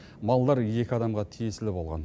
малдар екі адамға тиесілі болған